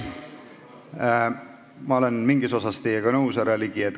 Ma olen mingis osas teiega nõus, härra Ligi.